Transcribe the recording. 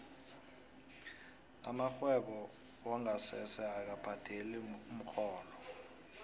amarhwebo wongasese akabhadeli umrholo